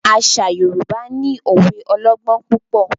Àṣà Yorùbá no òwe ọlọgbọn púpọ.